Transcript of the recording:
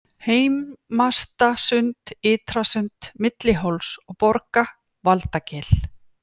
Heimastasund, Ytrasund, Milli Hóls og Borga, Valdagil